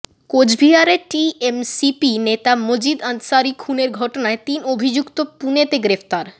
কোচবিহারে টিএমসিপি নেতা মাজিদ আনসারি খুনের ঘটনায় তিন অভিযুক্ত পুনেতে গ্রেফতার